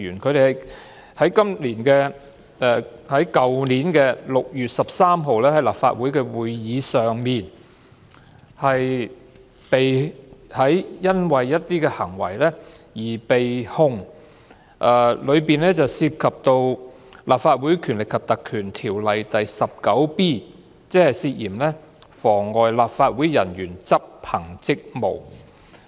他們因為去年6月13日在立法會會議上的一些行為而被控，當中涉及《立法會條例》第 19b 條，涉嫌妨礙立法會人員執行職務。